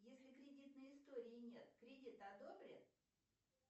если кредитной истории нет кредит одобрят